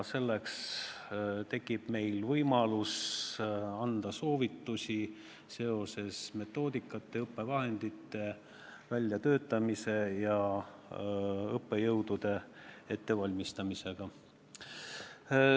Meil tekib nüüd võimalus anda soovitusi metoodikate, õppevahendite väljatöötamise ja õppejõudude ettevalmistamise kohta.